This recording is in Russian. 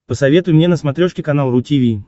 посоветуй мне на смотрешке канал ру ти ви